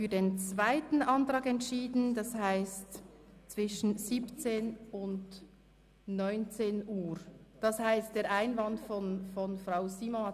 Somit werden wir nächste Woche Montag, Dienstag und Mittwoch bis 12.00 Uhr debattieren und am Nachmittag ab 13.00 Uhr.